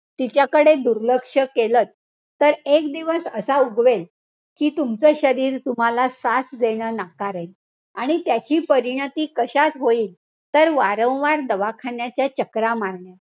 तिच्याकडे दुर्लक्ष केलत, तर एक दिवस असा उगवेल कि तुमचं शरीर तुम्हाला साथ देणं नाकारेल. आणि त्याची परिणीती कशात होईल? तर वारंवार दवाखानाच्या चकरा मारणे.